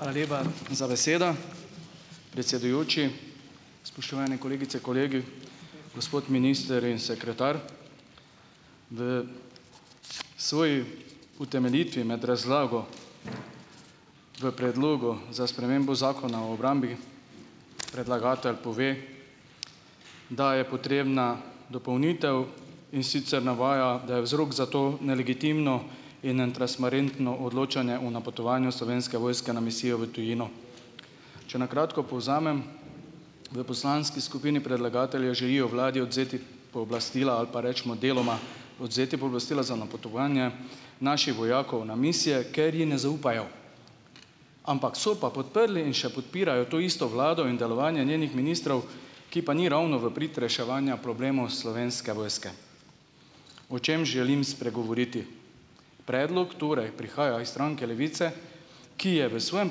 Hvala lepa za besedo, predsedujoči, spoštovani kolegice kolegi, gospod minister in sekretar. V svoji utemeljitvi med razlago v predlogu za spremembo zakona o obrambi predlagatelj pove, da je potrebna dopolnitev, in sicer navaja, da je vzrok za to nelegitimno in netransparentno odločanje o napotovanju slovenske vojske na misijo v tujino, če na kratko povzamem, v poslanski skupini predlagatelja želijo vladi odvzeti pooblastila ali pa recimo deloma odvzeti pooblastila za napotovanje naših vojakov na misije, ker ji ne zaupajo, ampak so pa podprli in še podpirajo to isto vlado, delovanje njenih ministrov, ki pa ni ravno v prid reševanja problemov slovenske vojske, o čem želim spregovoriti, predlog torej prihaja iz stranke Levice, ki je v svojem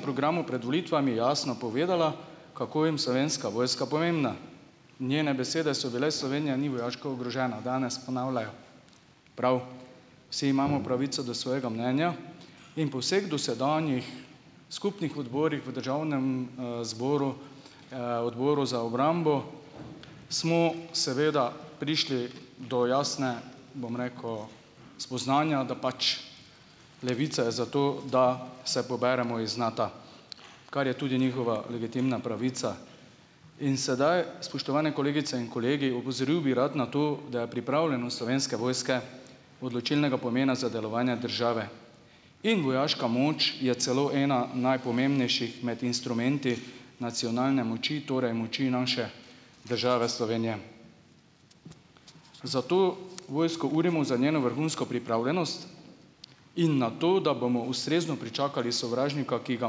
programu med volitvami jasno povedala, kako jim slovenska vojska pomembna, njene besede so bile: "Slovenija ni vojaško oborožena." Danes ponavljajo, prav, vsi imamo pravico do svojega mnenja in po vseh dosedanjih skupnih odborih v državnem, zboru, odboru za obrambo smo seveda prišli do jasne, bom rekel, spoznanja da pač Levica je za to, da se poberemo iz Nata, kar je tudi njihova legitimna pravica, in sedaj, spoštovane kolegice in kolegi, opozoril bi rad na to, da je pripravljenost slovenske vojske odločilnega pomena za delovanje države in vojaška moč je celo ena najpomembnejših med instrumenti nacionalne moči, torej moči naše države Slovenije, zato vojsko urimo za njeno vrhunsko pripravljenost in na to, da bomo ustrezno pričakali sovražnika, ki ga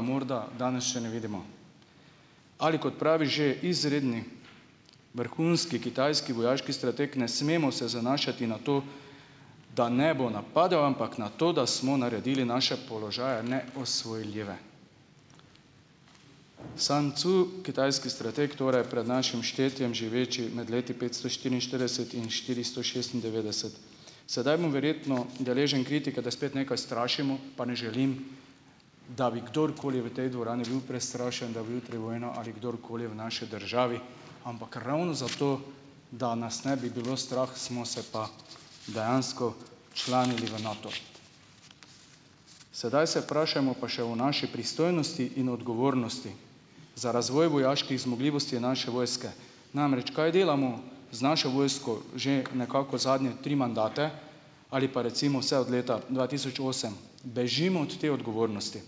morda danes še ne vidimo, ali kot pravi že izredni vrhunski kitajski vojaški strateg: "Ne smemo se zanašati na to, da ne bo napadel, ampak na to, da smo naredili naše položaje neosvojljive." Sun Cu, kitajski strateg, torej pred našim štetjem živeči med leti petsto štiriinštirideset in štiristo šestindevetdeset. Sedaj bom verjetno deležen kritike, da spet nekaj strašimo, pa ne želim, da bi kdorkoli v tej dvorani bil prestrašen, da bo jutri vojna ali kdorkoli v naši državi, ampak ravno zato, da nas ne bi bilo strah, smo se pa dejansko včlanili v Nato, sedaj se vprašajmo pa še o naši pristojnosti in odgovornosti za razvoj vojaških zmogljivosti naše vojske. Namreč, kaj delamo z našo vojsko že nekako zadnje tri mandate ali pa recimo se od leta dva tisoč osem bežimo od te odgovornosti,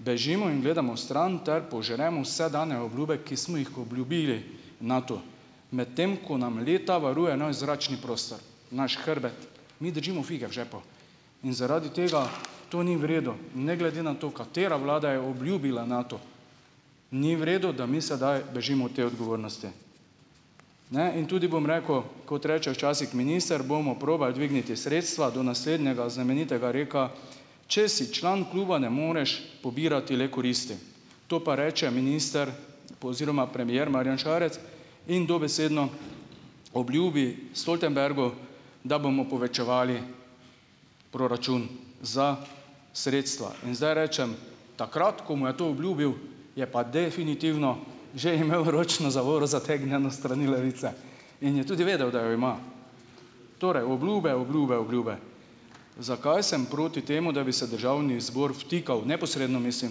bežimo in gledamo stran ter požremo vse dane obljube, ki smo jih obljubili Natu, medtem ko nam leta varuje naš zračni prostor, naš hrbet, mi držimo fige v žepu in zaradi tega, to ni v redu, ne glede na to, katera vlada je obljubila Natu, ni v redu, da mi sedaj bežimo od te odgovornosti, ne, in tudi bom rekel, kot reče včasih minister: "Bomo probali dvigniti sredstva." Do naslednjega znamenitega rekla: "Če si član kluba, ne moreš pobirati le koristi," to pa reče minister pa oziroma premier Marjan Šarec in dobesedno obljubi Stoltenbergu, da bomo povečevali proračun za sredstva in zdaj rečem, takrat ko mu je to obljubil, je pa definitivno že imel ročno zavoro zategnjeno s strani Levice in je tudi vedel, da jo ima, torej obljube, obljube, obljube. Zakaj sem proti temu, da bi se državni zbor vtikal neposredno, mislim,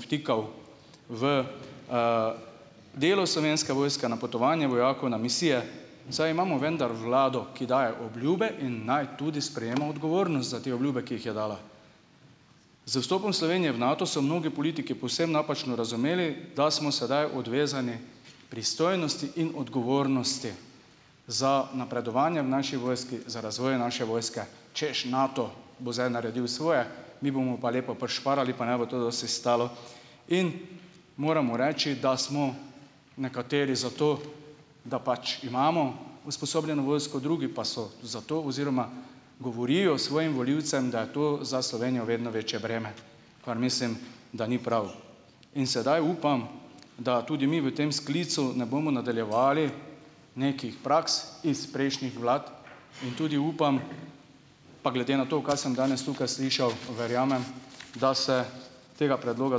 vtikal v, delo slovenske vojske, napotovanje vojakov na misije, saj imamo vendar vlado, ki daje obljube in naj tudi sprejema odgovornost za te obljube, ki jih je dala. Z vstopom Slovenije v Nato so mnogi politiki povsem napačno razumeli, da smo sedaj odvezani pristojnosti in odgovornosti za napredovanje v naši vojski, za razvoj naše vojske, češ, Nato bo zdaj naredil svoje, mi bomo pa lepo prišparali pa ne bo to dosti stalo in moramo reči, da smo nekateri za to, da pač imamo usposobljeno vojsko, drugi pa so za to oziroma govorijo svojim volivcem, da je to za Slovenijo vedno večje breme, kar mislim, da ni prav, in sedaj upam, da tudi mi v tem sklicu ne bomo nadaljevali nekih praks iz prejšnjih vlad, in tudi upam, pa glede na to, kaj sem danes tukaj slišal, verjamem, da se tega predloga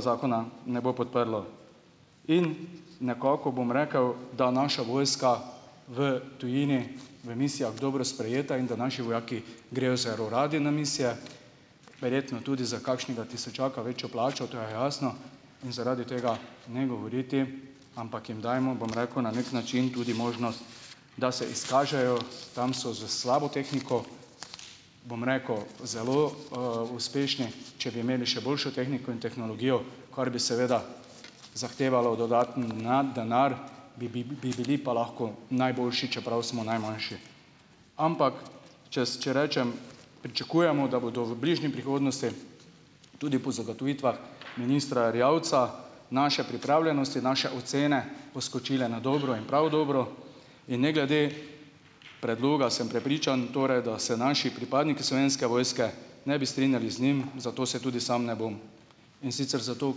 zakona ne bo podprlo, in nekako bom rekel, da naša vojska v tujini v misijah dobro sprejeta in da naši vojaki grejo zelo radi na misije, verjetno tudi za kakšnega tisočaka večjo plačo, to je jasno, in zaradi tega ne govoriti, ampak jim dajmo, bom rekel, na neki način tudi možnost, da se izkažejo, tam so s slabo tehniko, bom rekel, zelo uspešni, če bi imeli še boljšo tehniko in tehnologijo, kar bi seveda zahtevalo dodaten denar, bi, bi, bi bili pa lahko najboljši, čeprav smo najmanjši, ampak čez če rečem pričakujemo, da bodo v bližnji prihodnosti, tudi po zagotovitvah ministra Erjavca, naše pripravljenosti, naše ocene, poskočile na dobro in prav dobro in ne glede predloga sem prepričan torej, da se naši pripadniki slovenske vojske ne bi strinjali z njim, zato se tudi sam ne bom, in sicer zato,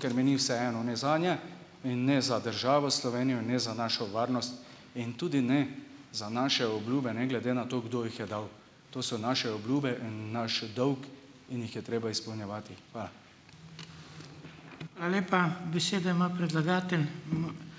ker mi ni vseeno ne zanje in ne za državo Slovenijo in ne za našo varnost in tudi ne za naše obljube, ne glede na to, kdo jih je dal, to so naše obljube in naš dolg, in jih je treba izpolnjevati. Hvala. Hvala lepa, besedo ima predlagatelj